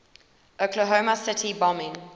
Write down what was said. oklahoma city bombing